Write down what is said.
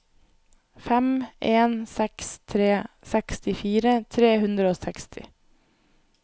fem en seks tre sekstifire tre hundre og seksti